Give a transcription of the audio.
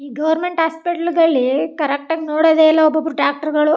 ಈ government hospital ಗಳ್ಳಿ correct ಆಗಿ ನೋಡೋದೆ ಇಲ್ಲಾ ಒಬ್ ಒಬ್ರು ಡಾಕ್ಟರ್ ಗಳು .